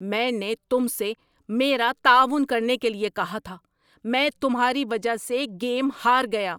میں نے تم سے میرا تعاون کرنے کیلئے کہا تھا! میں تمہاری وجہ سے گیم ہار گیا!